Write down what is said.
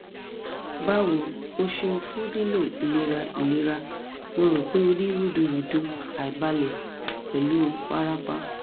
bawo o ṣeun fun lilo ilera ilera mo ro pe o ni rudurudu aibalẹ pẹlu warapa